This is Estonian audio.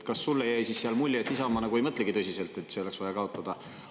Kas sulle jäi siis mulje, et Isamaa ei mõtlegi tõsiselt, et see oleks vaja kaotada?